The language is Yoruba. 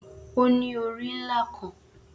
O ni ori nla kan